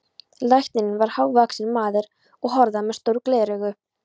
Læknirinn var hávaxinn maður og horaður með stór gleraugu.